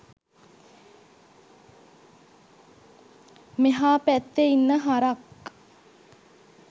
මෙහා පැත්තෙ ඉන්න හරක්